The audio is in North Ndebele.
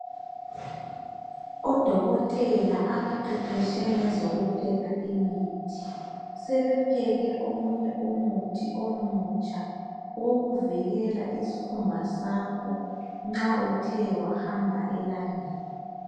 Odokotela abaqeqeshe ngezokupheka imuthi, sebepheke omunye umuthi omutsha owokuvikela isikhumba sakho nxa uthe wakamba elangeni.